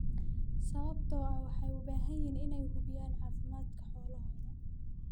sababtoo ah waxay u baahan yihiin inay hubiyaan caafimaadka xoolahooda.